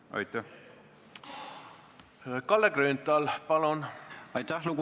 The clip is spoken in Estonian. Kalle Grünthal, palun!